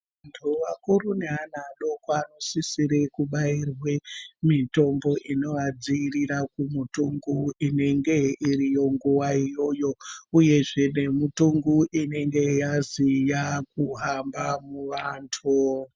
Vantu vakuru neana adoko anosisirwe kubayirwe mitombo inovadzivirira kumutungu unonga uriyo nguva iyoyo uyezve nemutungu unenge yazi wava kuhamba muvantu.